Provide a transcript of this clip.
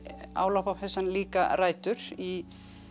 á lopapeysan líka rætur í